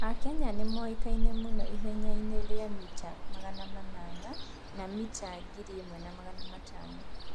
Akenya nĩ moĩkaine mũno ihenya-inĩ rĩa mita 800 na mita 1500.